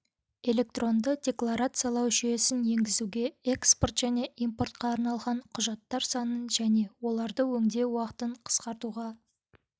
электронды декларациялау жүйесін енгізуге экспорт және импортқа арналған құжаттар санын және оларды өңдеу уақытын қысқартуға